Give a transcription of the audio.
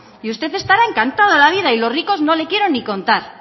y usted estará encantado de la vida y los ricos no le quiero ni contar